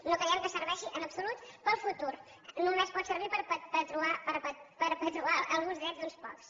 no creiem que serveixi en absolut per al futur només pot servir per perpetuar alguns drets d’uns pocs